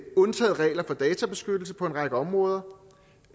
undtaget regler for databeskyttelse på en række områder